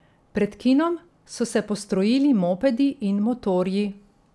Pred kinom so se postrojili mopedi in motorji.